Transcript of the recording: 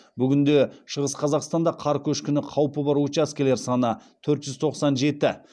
бүгінде шығыс қазақстанда қар көшкіні қаупі бар учаскелер саны төрт жүз тоқсан жеті